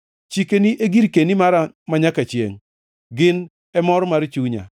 Chikeni e girkeni mara manyaka chiengʼ; gin e mor mar chunya.